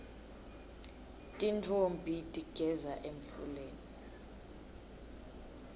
tintfombi tigeza emfuleni